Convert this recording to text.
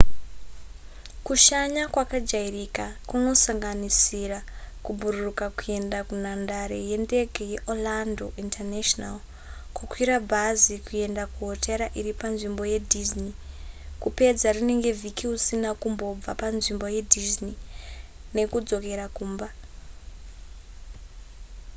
kushanya kwakajairika kunosanganisira kubhururuka kuenda kunhandare yendege yeorlando international kukwira bhazi kuenda kuhotera iri panzvimbo yedisney kupedza rinenge vhiki usina kumbobva panzvimbo yedisney nekudzokera kumba